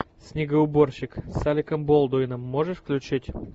снегоуборщик с алеком болдуином можешь включить